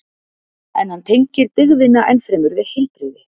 En hann tengir dygðina enn fremur við heilbrigði.